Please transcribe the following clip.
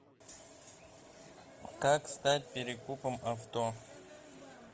как стать перекупом авто